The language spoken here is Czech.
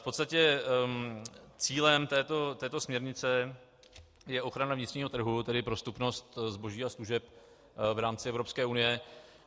V podstatě cílem této směrnice je ochrana vnitřního trhu, tedy prostupnost zboží a služeb v rámci Evropské unie.